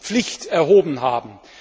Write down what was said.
zur Rechtspflicht erhoben haben.